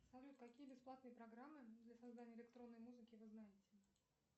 салют какие бесплатные программы для создания электронной музыки вы знаете